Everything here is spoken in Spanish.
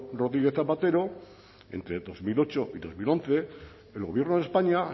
rodríguez zapatero entre dos mil ocho y dos mil once el gobierno de españa